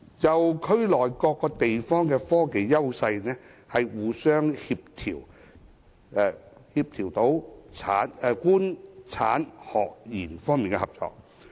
就區內各地方的科技優勢，互相協調官、產、學、研等方面的合作。